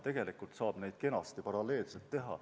Tegelikult saab neid asju kenasti paralleelselt teha.